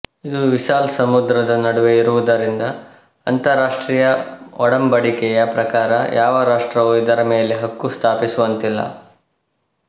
ಇದು ವಿಶಾಲ ಸಮುದ್ರದ ನಡುವೆ ಇರುವುದರಿಂದ ಅಂತರರಾಷ್ಟ್ರೀಯ ಒಡಂಬಡಿಕೆಯ ಪ್ರಕಾರ ಯಾವ ರಾಷ್ಟ್ರವೂ ಇದರ ಮೇಲೆ ಹಕ್ಕು ಸ್ಥಾಪಿಸುವಂತಿಲ್ಲ